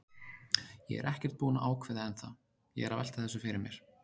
Ég er ekkert búinn að ákveða ennþá, ég er að velta þessu fyrir mér.